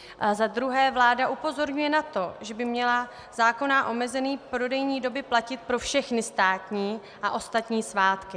Za druhé vláda upozorňuje na to, že by měla zákonná omezení prodejní doby platit pro všechny státní a ostatní svátky.